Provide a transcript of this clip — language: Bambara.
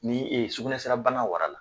Ni e ye sukunɛsira bana wara la